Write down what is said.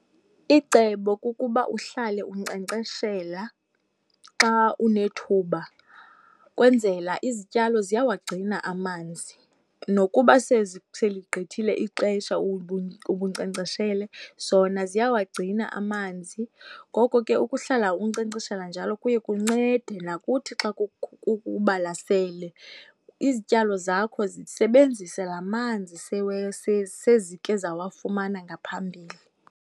Icebo kukuba uhlale unkcenkceshela xa unethuba ukwenzela izityalo ziyawagcina amanzi nokuba seligqithile ixesha ubunkcenkceshele zona ziyawagcina amanzi. Ngoko ke ukuhlala unkcenkceshela njalo kuye kuncede nakuthi xa kubalasele izityalo zakho zisebenzise la manzi sezike zawafumana ngaphambili.